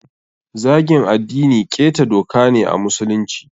Zagin addini ƙeta doka ne a musulunci.